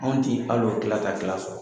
Anw ti hal'o tita ta tila sɔrɔ.